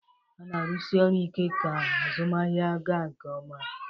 Ha na arusi oru ike ka azụmahịa ga nke ọma